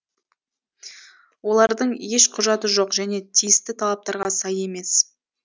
олардың еш құжаты жоқ және тиісті талаптарға сай емес